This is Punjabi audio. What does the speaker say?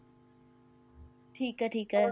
ਠੀਕ ਹੈ ਠੀਕ ਹੈ,